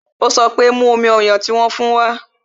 Ó sọ pé "Mú omi ọyàn tí wón fún wa"